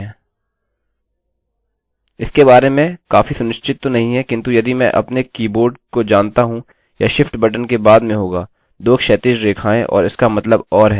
इसके बारे में काफी सुनिश्चित तो नहीं है किन्तु यदि मैं अपने कीबोर्ड को जानता हूँ यह शिफ्ट बटन के बाद में होगा 2 क्षैतिज रेखाएं और इसका मतलब or है